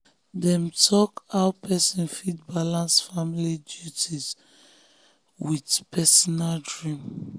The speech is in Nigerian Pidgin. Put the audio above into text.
dem talk how person fit balance family duties with family duties with personal dream.